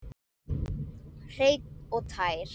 Hreinn og tær.